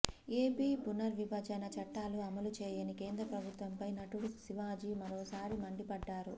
AP పునర్విభజన చట్టాలు అమలు చేయని కేంద్ర ప్రభుత్వంపై నటుడు శివాజీ మరోసారి మండిపడ్డారు